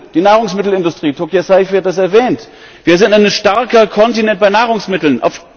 Die Nahrungsmittelindustrie Tokia Saïfi hat es erwähnt Wir sind ein starker Kontinent bei Nahrungsmitteln.